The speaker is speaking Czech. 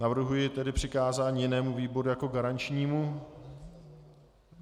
Navrhuje někdo přikázání jinému výboru jako garančnímu?